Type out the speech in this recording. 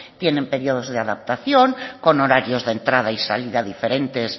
tienen periodos de adaptación con horarios de entrada y salida diferentes